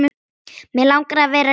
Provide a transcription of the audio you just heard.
Mig langar að vera rík.